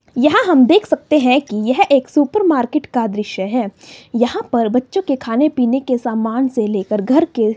यहां हम देख सकते हैं कि यह एक सुपर मार्केट का दृश्य है यहां पर बच्चों के खाने पीने के समान से लेकर घर के--